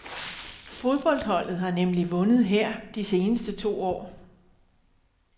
Fodboldholdet har nemlig vundet her de seneste to år.